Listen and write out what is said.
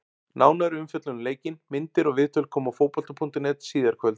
Nánari umfjöllun um leikinn, myndir og viðtöl koma á Fótbolta.net síðar í kvöld.